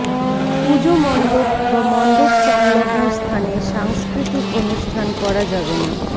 পুজো মণ্ডপ বা মণ্ডপ সংলগ্ন স্থানে সাংস্কৃতিক অনুষ্ঠান করা যাবে না